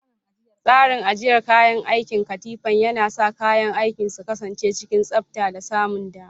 Tsarin ajiyar kayan aikin kafinta yana sa kayan aiki su kasance cikin tsabta da samun dama.